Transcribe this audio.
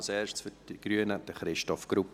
Als Erstes für die Grünen: Christoph Grupp.